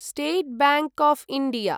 state Bank of India